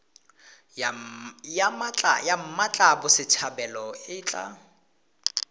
ya mmatla botshabelo e tla